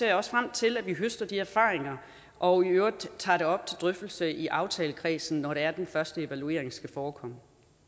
jeg også frem til at vi høster de erfaringer og i øvrigt tager det op til drøftelse i aftalekredsen når det er den første evaluering skal forekomme